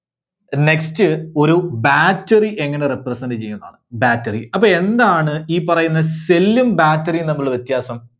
Next ഒരു Battery എങ്ങനെ represent ചെയ്യുന്നാണ്? Battery അപ്പോ എന്താണ് ഈ പറയുന്ന cell ഉം battery ഉം തമ്മിലുള്ള വ്യത്യാസം?